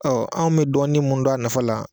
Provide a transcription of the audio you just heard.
anw mi dɔɔnin mun dɔn a nafa la